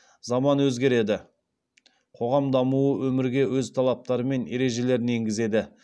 заман өзгереді қоғам дамуы өмірге өз талаптары мен ережелерін енгізеді